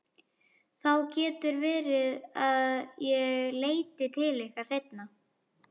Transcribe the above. Það getur verið að ég leiti til ykkar seinna.